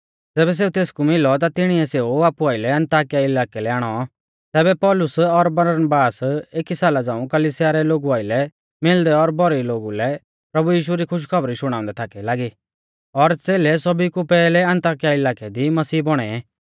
ज़ैबै सेऊ तेसकु मिलौ ता तिणीऐ सेऊ आपु आइलै अन्ताकिया इलाकै लै आणौ तैबै पौलुस ओर बरनाबास एकी साला झ़ांऊ कलिसिया रै लोगु आइलै मिलदै और भौरी लोगु कै प्रभु यीशु री खुशखौबरी शुणाउंदै थाकै लागी और च़ेलै सौभी कु पैहलै अन्ताकिया इलाकै दी मसीह बौणै